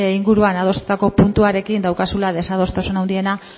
inguruan adostutako puntuarekin daukazula desadostasun handiena